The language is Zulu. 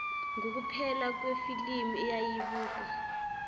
ngukuphela kwefilimu eyayibukwa